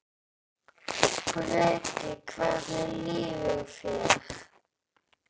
Breki: Hvernig líður þér?